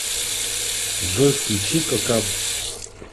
джой включи кокаб